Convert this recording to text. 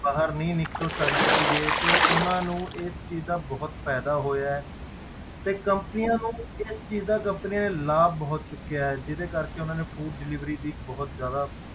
ਬਾਹਰ ਨਹੀਂ ਨਿੱਕਲ ਸਕਦੇ ਸੀਗੇ ਤੇ ਉਹਨਾਂ ਨੂੰ ਇਸ ਚੀਜ਼ ਦਾ ਬਹੁਤ ਫ਼ਾਇਦਾ ਹੋਇਆ ਹੇ ਤੇ companies ਨੂੰ ਇਸ ਚੀਜ਼ ਦਾ companies ਨੇ ਲਾਭ ਬਹੁਤ ਚੁੱਕਿਆ ਹੈ ਜਿਹਦੇ ਕਰਕੇ ਉਹਨਾਂ ਨੇ food delivery ਦੀ ਬਹੁਤ ਜ਼ਿਆਦਾ,